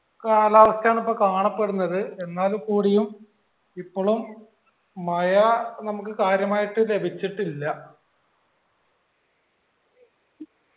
കാലാവസ്ഥയാണിപ്പോ കാണപ്പെടുന്നത് എന്നാൽ കൂടിയും ഇപ്പൊളും മയ നമ്മക് കാര്യമായിട് ലഭിച്ചിട്ടില്ല